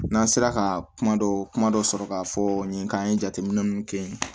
N'an sera ka kuma dɔ kuma dɔ sɔrɔ k'a fɔ n ye k'an ye jateminɛ ninnu kɛ yen